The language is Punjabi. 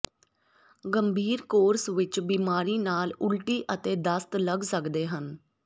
ਗੰਭੀਰ ਕੋਰਸ ਵਿੱਚ ਬਿਮਾਰੀ ਨਾਲ ਉਲਟੀ ਅਤੇ ਦਸਤ ਲੱਗ ਸਕਦੇ ਹਨ